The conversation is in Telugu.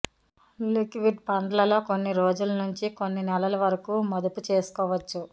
లిక్విడ్ ఫండ్లలో కొన్ని రోజుల నుంచి కొన్ని నెలలు వరకూ మదుపు చేసుకోవచ్చు